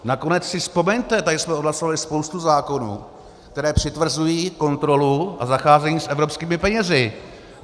Nakonec si vzpomeňte, tady jsme odhlasovali spoustu zákonů, které přitvrzují kontrolu a zacházení s evropskými penězi.